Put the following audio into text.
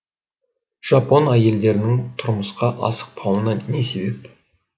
жапон әйелдерінің тұрмысқа асықпауына не себеп